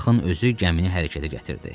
Axın özü gəmini hərəkətə gətirdi.